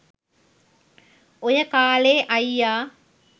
ඔය කාලෙ අයියා